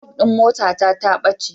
Flug motata ya ɓace.